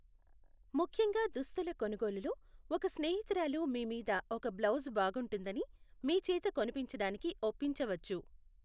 ముఖ్యంగా దుస్తుల కొనుగోలులో, ఒక స్నేహితురాలు మీ మీద ఓక బ్లౌజు బాగుంటుందని మీ చేత కొనిపించడానికి ఒప్పించవచ్చు .